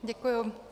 Děkuji.